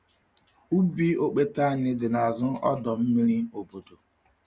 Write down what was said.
Ubi okpete anyị dị n’azụ ọdọ mmiri obodo.